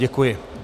Děkuji.